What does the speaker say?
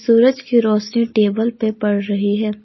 सूरज की रोशनी टेबल पे पड़ रही है।